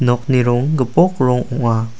nokni rong gipok rong ong·a.